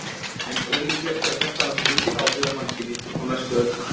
En ólíklegt er þetta hafi mikil áhrif á mannkynið á næstu öldum.